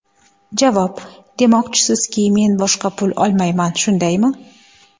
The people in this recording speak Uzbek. Javob: Demoqchisizki, men boshqa pul olmayman, shundaymi?